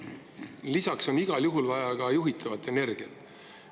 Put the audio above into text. Lisaks on igal juhul vaja ka juhitavat energiat.